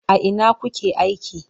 A ina kuke aiki?